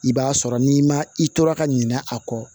I b'a sɔrɔ n'i ma i tora ka ɲinɛ a kɔ